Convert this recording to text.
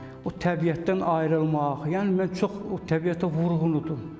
O təbiətdən ayrılmaq, yəni mən çox o təbiətə vurğundum.